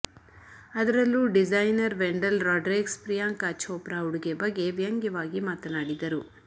ಅದರಲ್ಲೂ ಡಿಸೈನರ್ ವೆಂಡಲ್ ರಾಡ್ರಿಕ್ಸ್ ಪ್ರಿಯಾಂಕಾ ಛೋಪ್ರಾ ಉಡುಗೆ ಬಗ್ಗೆ ವ್ಯಂಗ್ಯವಾಗಿ ಮಾತನಾಡಿದ್ದರು